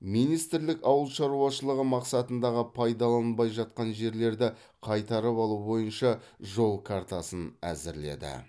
министрлік ауыл шаруашылығы мақсатындағы пайдаланылмай жатқан жерлерді қайтарып алу бойынша жол картасын әзірледі